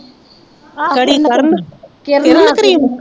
ਆਹੋ ਕਿਹੜੀ ਨਾਕਰਨ ਕਿਰਨ ਕਰੀਮ